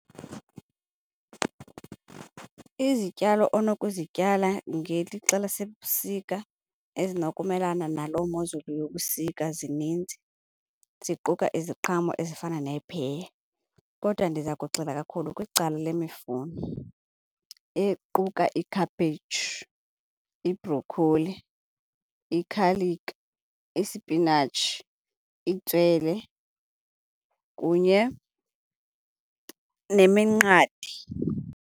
Izityalo onokuzityala ngelixa lasebusika ezinokumelana naloo mozulu yobusika zininzi, ziquka iziqhamo ezifana nee-pear. Kodwa ndiza kugxila kakhulu kwicala lemifuno equka ikhaphetshu, ibhrokholi, ikhaliki, isipinatshi, itswele kunye neminqathe.